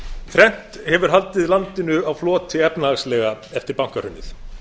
þrennt hefur haldið landinu á floti efnahagslega eftir bankahrunið